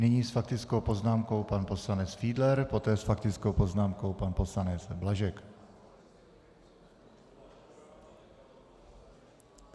Nyní s faktickou poznámkou pan poslanec Fiedler, poté s faktickou poznámkou pan poslanec Blažek.